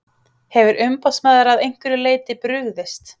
Hefur umboðsmaður að einhverju leyti brugðist?